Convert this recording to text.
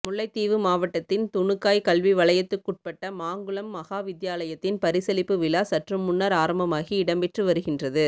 முல்லைத்தீவு மாவட்டத்தின் துணுக்காய் கல்வி வலயத்துக்குட்பட்ட மாங்குளம் மகாவித்தியாலயத்தின் பரிசளிப்பு விழா சற்றுமுன்னர் ஆரம்பமாகி இடம்பெற்று வருகின்றது